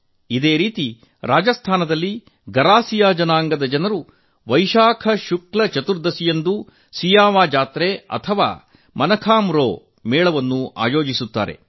ಇದೇ ರೀತಿ ರಾಜಸ್ಥಾನದಲ್ಲಿ ಗರಾಸಿಯಾ ಜನಾಂಗದ ಜನರು ವೈಶಾಖ ಶುಕ್ಲ ಚತುರ್ದಶಿಯಂದು ಸಿಯಾವಾ ಜಾತ್ರೆ ಅಥವಾ ಮನಖಾಂ ರೋ ಮೇಳ ಆಯೋಜಿಸುತ್ತಾರೆ